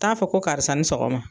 Taa fɔ ko karisa ni sɔgɔma.